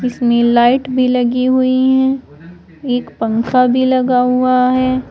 इसमें लाइट भी लगी हुई है एक पंखा भी लगा हुआ है।